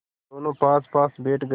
दोेनों पासपास बैठ गए